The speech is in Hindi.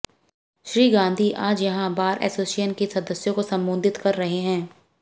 श्री गांधी आज यहां बार ऐसोसिएशन के सदस्यों को संबोधित कर रहे थे